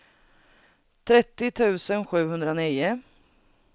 trettio tusen sjuhundranio